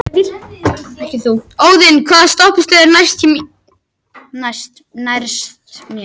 Óðinn, hvaða stoppistöð er næst mér?